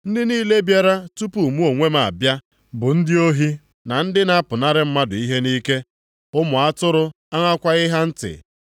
Ndị niile bịara tupu mụ onwe m abịa bụ ndị ohi na ndị na-apụnara mmadụ ihe nʼike. Ụmụ atụrụ aṅakwaghị ha ntị.